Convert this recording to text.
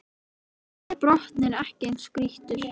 Þar er botninn ekki eins grýttur